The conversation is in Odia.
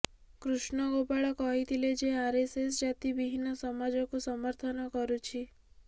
କୃଷ୍ଣ ଗୋପାଳ କହିଥିଲେ ଯେ ଆରଏସଏସ ଜାତି ବିହୀନ ସମାଜକୁ ସମର୍ଥନ କରୁଛି